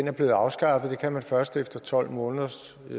er blevet afskaffet det kan man først efter tolv måneder